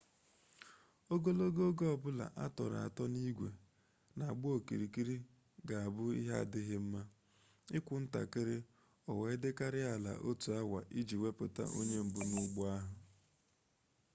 ogologo oge ọ bụla a tọrọ atọ n'igwe na-agba okirikiri ga-abụ ihe adighi nma ikwu ntakịrị o wee dịkarịa ala otu awa iji wepụta onye mbụ n'ụgbọ ahụ